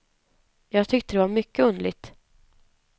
Jag tyckte det var mycket underligt.